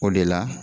O de la